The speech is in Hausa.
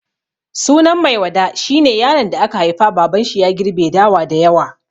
Sunan Maiwada shi ne yaron da aka haifa babanshi ya girbe dawa da yawa.